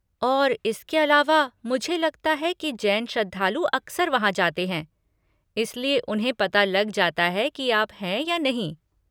और इसके अलावा, मुझे लगता है कि जैन श्रद्धालु अक्सर वहाँ जाते हैं, इसलिए उन्हें पता लग जाता है कि आप हैं या नहीं।